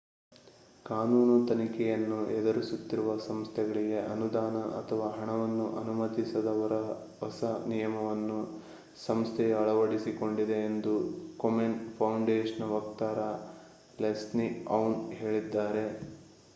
ಕಾನೂನು ತನಿಖೆಯನ್ನು ಎದುರಿಸುತ್ತಿರುವ ಸಂಸ್ಥೆಗಳಿಗೆ ಅನುದಾನ ಅಥವಾ ಹಣವನ್ನು ಅನುಮತಿಸದ ಹೊಸ ನಿಯಮವನ್ನು ಸಂಸ್ಥೆಯು ಅಳವಡಿಸಿಕೊಂಡಿದೆ ಎಂದು ಕೊಮೆನ್‌ ಫೌಂಡೇಶನ್‌ನ ವಕ್ತಾರ ಲೆಸ್ಲಿ ಔನ್‌ ಹೇಳಿದ್ದಾರೆ